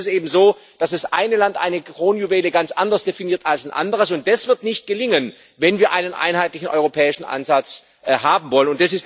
Denn häufig ist es eben so, dass das eine Land eine Kronjuwele ganz anders definiert als ein anderes. Das wird nicht gelingen, wenn wir einen einheitlichen europäischen Ansatz haben wollen.